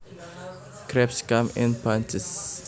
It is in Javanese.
Grapes come in bunches